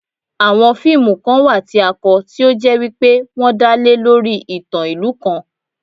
Àwon fíìmù kan wà tí a kọ, tí ó jẹ́ wípé wọ́n dá lé lórí ìtàn ìlú kan